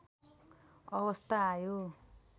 अवस्था आयो